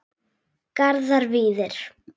Garðar Víðir.